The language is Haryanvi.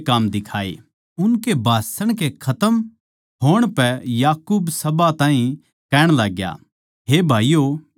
उनके भाषण के खतम होण पै याकूब सभा ताहीं कहण लाग्या हे भाईयो मेरी सुणो